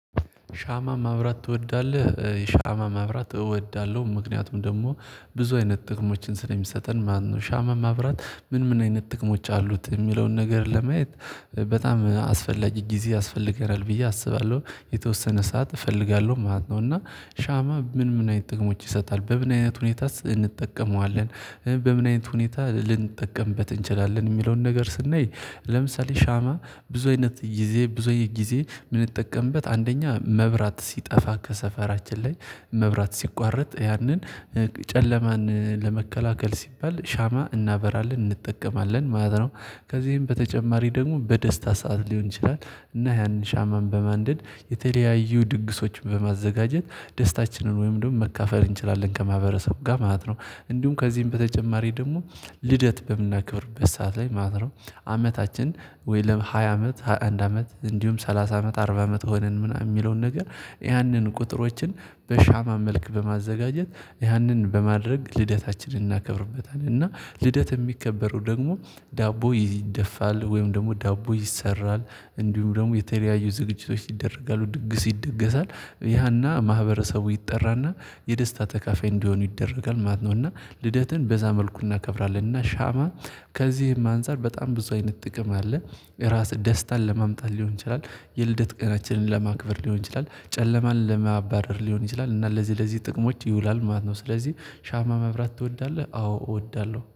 ሻማ ማብራት ትወዳለህ? ሻማ ማብራት እወዳለሁ ምክንያቱም ደግሞ ብዙ አይነት ጥቅሞችን ስለሚሰጠን ማለት ነው። ሻማ ማብራት ምን ምን አይነት ጥቅሞች አሉት የሚለውን ነገር ለማየት በጣም አስፈላጊ ጊዜ ያስፈልገናል ብዬ አስባለሁ። የተወሰነ ሰዓት እፈልጋለሁ ማለት ነው። እና ሻማ ምን ምን አይነት ጥቅሞች ይሰጣል በምን አይነት ሁኔታ እንጠቀመዋለን? በምን አይነት ሁኔታ ልንጠቀምበት እንችላለን የሚለውን ነገር ስናይ። ለምሳሌ ሻማ ብዙ አይነት ጊዜ ብዙ አይነት ጊዜ የምንጠቀምበት አንደኛ መብራት ሲጠፋ ከሰፈራችን ላይ መብራት ሲቋረጥ ያንን ጨለማን ለመከላከል ሲባል ሻማ እናበራለን እንጠቀማለን ማለት ነው። ከዚህም በተጨማሪ ደግሞ በደስታ ሰዓት ሊሆን ይችላል እና ያንን ሻማን በማንደድ የተለያዩ ድግሶችን በማዘጋጀት ደስታችንን ወይም ደግሞ መካፈል እንችላለን ከማህበረሰቡ ጋር ማለት ነው። እንዲሁም ከዚህም በተጨማሪ ደግሞ ልደት በምናክብርበት ሰዓት ላይ ማለት ነው። ዓመታችን ወይ ለሃያ አመት አንድ አመት እንዲሁም ሰላሳ አመት አርባ አመት ሆነን ምናምን የሚለውን ነገር። ያንን ቁጥሮችን በሻማ መልክ በማዘጋጀት ያንን በማድረግ ልደታችንን እናከብርበታለን እና ልደት የሚከበረው ደግሞ ዳቦ ይደፋል ወይም ደግሞ ዳቦ ይሰራል እንዲሁም ደግሞ የተለያዩ ዝግጅቶች ይደረጋሉ ድግስ ይደገሳል ያና ማህበረሰቡ ይጠራና የደስታ ተካፋይ እንዲሆኑ ይደረጋል ማለት ነው። እና ልደትን በዛ መልኩ እናከብራለን እና ሻማ። ከዚህም አንፃር በጣም ብዙ አይነት ጥቅም አለ። ራስህ ደስታን ለማምጣት ሊሆን ይችላል። የልደት ቀናችንን ለማክበር ሊሆን ይችላል ጨለማን ለማባረር ሊሆን ይችላል እና ለዚህ ለዚህ ጥቅሞች ይውላል ማለት ነው። ስለዚህ ሻማ መብራት ትወዳለህ? አዎ እወዳለሁ